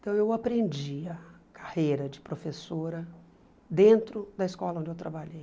Então eu aprendi a carreira de professora dentro da escola onde eu trabalhei.